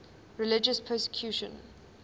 religious persecution